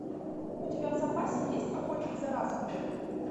у тебя в запасе есть охотник за разумом